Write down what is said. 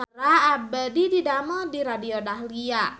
Abdi didamel di Radio Dahlia